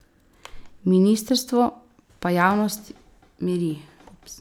Ministrstvo pa javnost miri.